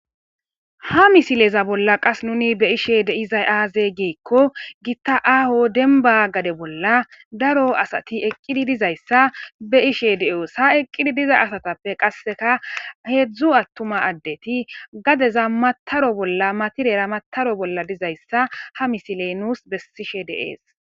ha misileza bolla qas nuni be ishe de izay aaze geekko gitta aaho denba gade bolla daro asati eqqidi dizayssa be ishe de7oes ha eqqidi diza asatappe qasseka heedzdzu attuma addeti gadeza mataro bolla matireera mataro bolla dizayssa ha misiley nuus bessishe deees